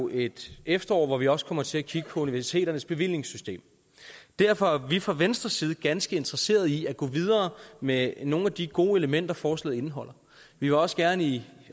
et efterår hvor vi også kommer til at kigge på universiteternes bevillingssystem derfor er vi fra venstres side ganske interesserede i at gå videre med nogle af de gode elementer forslaget indeholder vi vil også gerne i